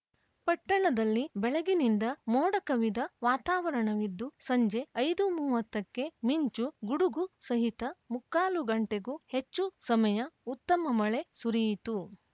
ಪಟ್ಟಣದಲ್ಲಿ ಬೆಳಗಿನಿಂದ ಮೋಡ ಕವಿದ ವಾತಾವರಣವಿದ್ದು ಸಂಜೆ ಐದು ಮೂವತ್ತಕ್ಕೆ ಮಿಂಚು ಗುಡುಗು ಸಹಿತ ಮುಕ್ಕಾಲು ಗಂಟೆಗೂ ಹೆಚ್ಚು ಸಮಯ ಉತ್ತಮ ಮಳೆ ಸುರಿಯಿತು